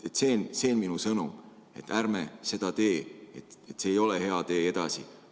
See on minu sõnum, et ärme seda tee, see ei ole hea tee edasi.